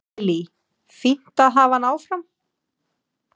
Lillý: Fínt að hafa hann áfram?